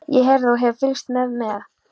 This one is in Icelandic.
Ég heyri að þú hefur fylgst vel með.